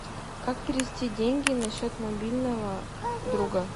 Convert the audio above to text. как перевести деньги на счет мобильного друга